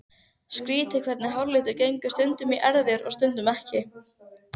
Skrýtið hvernig háralitur gengur stundum í erfðir og stundum ekki.